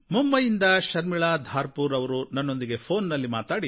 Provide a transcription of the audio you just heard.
ಮುಂಬಯಿಯಿಂದ ಶರ್ಮಿಳಾ ಧಾರ್ಪುರೇ ಅವರು ನನ್ನೊಂದಿಗೆ ಫೋನ್ ನಲ್ಲಿ